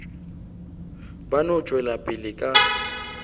ba no tšwela pele ka